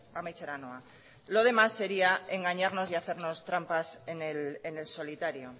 amaitzera noa lo demás sería engañarnos y hacernos trampas en el solitario